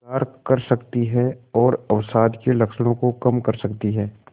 सुधार कर सकती है और अवसाद के लक्षणों को कम कर सकती है